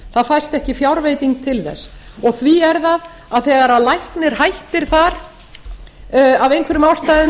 það fæst ekki fjárveiting til þess og því er það að þegar læknir hættir þar af einhverjum ástæðum